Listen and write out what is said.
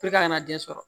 a kana den sɔrɔ